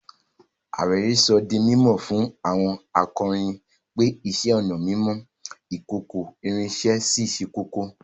Àwèró sọ̀ dí mímọ́ fún àwọn àkòróyìn pé ìṣẹ̀-ọnà mímọ ìkòkò-ìrín sẹ́ kókó